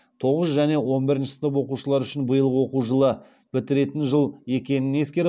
тоғызыншы және он бірінші сынып оқушылары үшін биылғы оқу жылы бітіретін жыл екенін ескеріп